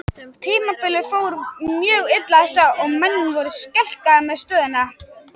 Tímabilið fór mjög illa af stað og menn voru skelkaðir með stöðuna.